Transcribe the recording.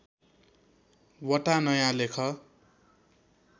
वटा नयाँ लेख